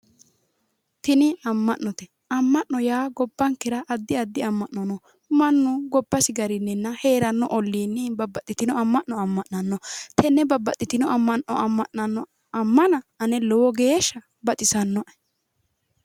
tini amma'note amma'no yaa gobbankera addi addi amma'no no mannu gobbasi garinninna heeranno olliinni babbaxitino amma'no amma'nanno tenne babbaxitino ammano amma'nanno ammana ane lowo geeshsha baxisannoe.